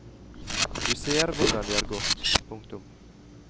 Du ser hvordan det har gått. punktum